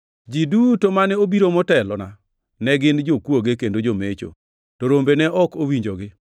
Ji duto mane obiro motelona ne gin jokwoge kendo jomecho, to rombe ne ok owinjogi.